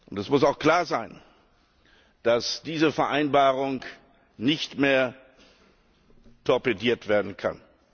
Es muss auch klar sein, dass diese Vereinbarung nicht mehr torpediert werden kann.